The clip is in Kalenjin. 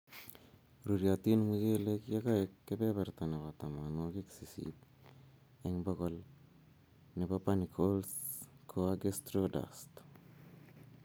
Ruryotin mchelek yekokoek kebeberta nebo tamanwokik sisit eng bokol nebo panicles koage straw dust